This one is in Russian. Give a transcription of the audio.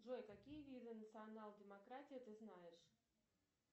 джой какие виды национал демократии ты знаешь